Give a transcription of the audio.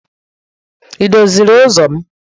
Ị doziri ụzọ m?